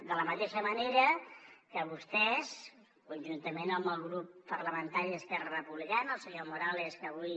de la mateixa manera que vostès conjuntament amb el grup parlamentari d’esquerra republicana el senyor morales que avui